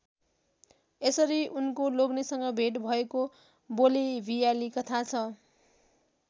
यसरी उनको लाग्नेसँग भेट भएको बोलेभियाली कथा छ।